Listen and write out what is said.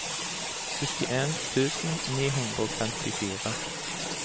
syttien tusen ni hundre og femtifire